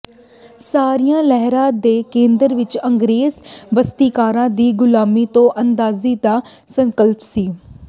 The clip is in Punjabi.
ਸਾਰੀਆਂ ਲਹਿਰਾਂ ਦੇ ਕੇਂਦਰ ਵਿੱਚ ਅੰਗਰੇਜ਼ ਬਸਤੀਕਾਰਾਂ ਦੀ ਗ਼ੁਲਾਮੀ ਤੋਂ ਆਜ਼ਾਦੀ ਦਾ ਸੰਕਲਪ ਸੀ